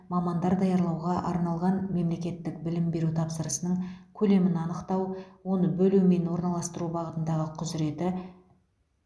мамандар даярлауға арналған мемлекеттік білім беру тапсырысының көлемін анықтау оны бөлу мен орналастыру бағытындағы құзыреті